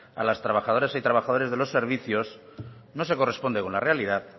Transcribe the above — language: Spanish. a las trabajadoras y trabajadores de los servicios no se corresponde con la realidad